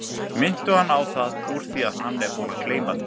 Minntu hann á það úr því að hann er búinn að gleyma því.